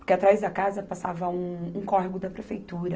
Porque atrás da casa passava um, um córrego da prefeitura.